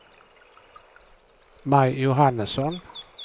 Maj Johannesson